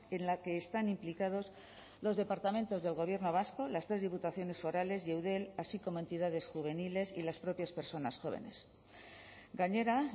en la que están implicados los departamentos del gobierno vasco las tres diputaciones forales y eudel así como entidades juveniles y las propias personas jóvenes gainera